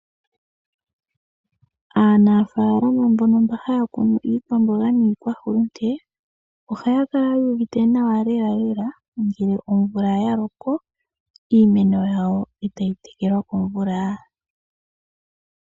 Aanaafalama mbono mba haya kunu iikwamboga niihulunde ohaya kala wuuvite nawalela ngele omvula ya loko iimeno yawo etayi tekelwa komvula.